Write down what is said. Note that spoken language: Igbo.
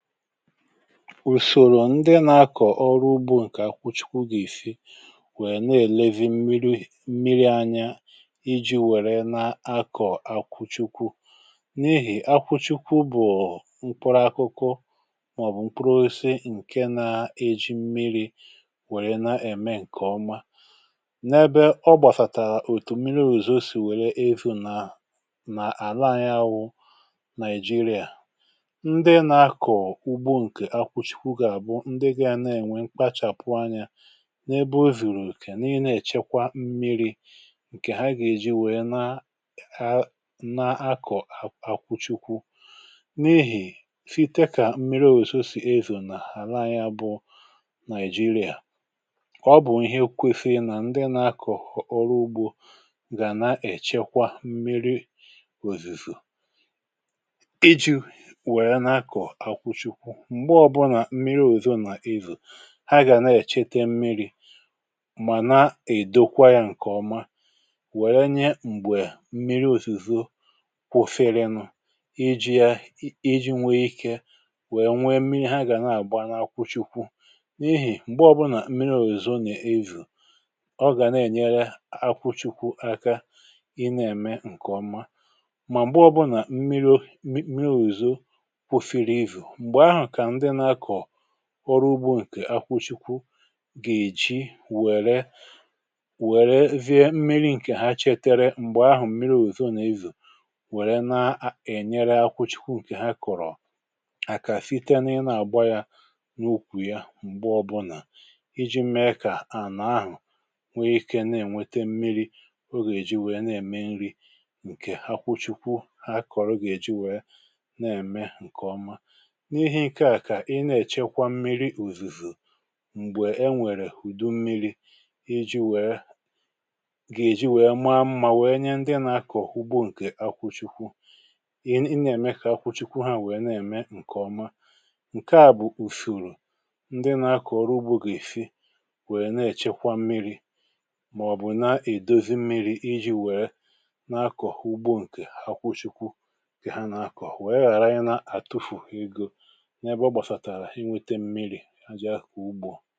ùsòrò ndị nȧ-ȧkọ̀ ọrụ ugbȯ nke akwụchikwụ ga-àfụ nwèe na elevi mmiri anya iji̇ wère na-akọ̀ akwụchikwu n’ihì akwụchikwu bụ̀ mkpọrọ akụkụ màọ̀bụ̀ mkpọrọ ose ǹke na-eji mmiri̇ wère na-ème ǹkè ọma n’ebe ọ gbàsàtà òtù mmiri̇ ùzò sì wère ezinà àla anyȧ wụ nigeria ndị gȧ na-ènwe ǹkpachàpụ anya n’ebe o zìrì òkè nii nà-èchekwa mmi̇ri̇ ǹkè ha gà-èji wèe na na-akọ̀ akwụchikwu n’ehì fɪ́tékà mmiri̇ òzìzò sì ezò nà-àhala anya bụ nàị̀jirịà ọ bụ̀ ihe kwėfė nà ndị nà-akọ̀ ọrụ ugbȯ gà nà-èchekwa mmiri̇ òzìzò m̀gbe ọbụnà mmiri òzò nà ìzù ha gà na-ècheta mmi̇ri̇ mà na-èdokwa ya ǹkè ọma wère nye m̀gbè mmiri òzòzò kwoferenu̇ iji̇ ya iji̇ nwe ikė wèe nwe mmiri ha gà na-àgba n’akwụchikwu n’ihì m̀gbe ọbụnà mmiri òzò nà-èvù ọ gà na-ènyere akwụchikwu aka ị na-ème ǹkè ọma mà m̀gbe ọbụnà mmiri o mmiri òzò kwufere evù ọrụ ugbo ǹkè akwụchikwu gà-èji wère wère vidiyo mmiri ǹkè ha cheteere m̀gbè ahụ̀ mmiri òzò nà-ezù wère na-ènyere akwụchikwu ǹkè ha kọ̀rọ̀ àkà site n’ịna àgba ya n’ukwù ya m̀gbe ọbụlà iji̇ mee kà ànà ahụ̀ nwee ike na-ènwete mmiri̇ ogè eji wèe na-ème nri ǹkè akwụchikwu ha kọ̀rọ̀ ogè eji wèe na-ème ǹkè ọma m̀gbè e nwèrè hụ̀dụ mmiri̇ iji wèe gà-èji wèe maa mmȧ nwèe nye ndị nȧ-akọ̀ ugbo ǹkè akwụchukwu ị nà-ème kà akwụchukwu ha nwèe na-ème ǹkèọma ǹke a bụ̀ ùfùrù ndị nȧ-akọ̀ ọrụ ugbo gị̀ èfi nwèe na-èchekwa mmiri̇ màọ̀bụ̀ na-èdozi mmiri̇ iji wèe nà-akọ̀ ugbo ǹkè akwụchukwu ǹkè ha nà-akọ̀ nwèe ghàra ihe na àtufù ego ajị̀ ahụ̀ ugbȯ